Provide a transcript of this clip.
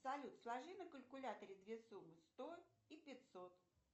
салют сложи на калькуляторе две суммы сто и пятьсот